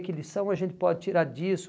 Que lição a gente pode tirar disso?